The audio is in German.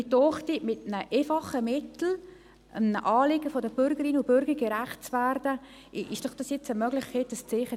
Ich denke, man kann mit einem einfachen Mittel einem Anliegen der Bürgerinnen und Bürger gerecht werden und ein Zeichen setzen.